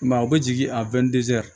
I m'a ye u bɛ jigin a